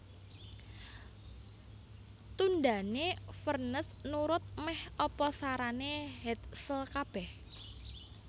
Tundhané Vernes nurut mèh apa sarané Hetzel kabèh